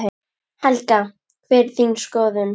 Helga: Hver er þín skoðun?